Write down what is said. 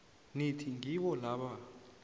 nithi ngibo laba